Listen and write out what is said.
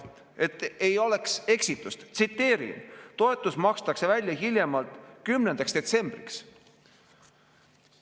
Et ei oleks eksitust, tsiteerin: "Toetus makstakse välja hiljemalt 10. detsembriks.